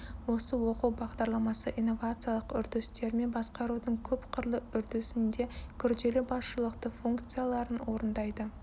осы оқу бағдарламасы инновациялық үрдістермен басқарудың көпқырлы үрдісінде күрделі басшылықты функцияларын орындайды